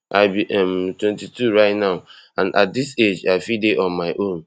i be um twenty-two right now and at dis age i fit dey on my own